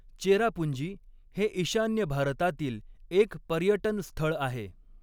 चेरापुंजी हे ईशान्य भारतातील एक पर्यटन स्थळ आहे.